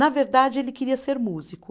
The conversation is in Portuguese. Na verdade, ele queria ser músico.